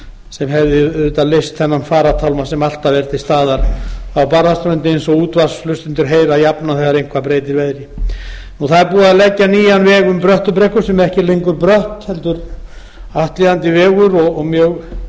sem hefði auðvitað leyst þennan farartálma sem alltaf er til staðar á barðaströndinni eins og útvarpshlustendur heyra jafnan þegar eitthvað breytir veðri það er búið að leggja nýja veg um bröttubrekku sem ekki er lengur brött heldur aflíðandi vegur og mjög